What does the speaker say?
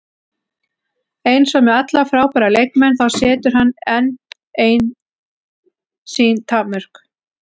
Eins og með alla frábæra leikmenn, þá setur hann einn sín takmörk.